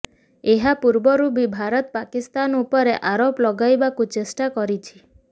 ଏହା ପୂର୍ବରୁ ବି ଭାରତ ପାକିସ୍ତାନ ଉପରେ ଆରୋପ ଲଗାଇବାକୁ ଚେଷ୍ଟା କରିଛି